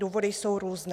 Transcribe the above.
Důvody jsou různé.